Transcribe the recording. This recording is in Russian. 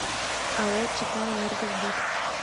ао читаэнергосбыт